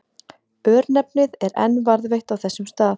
Örnefnið er enn varðveitt á þessum stað.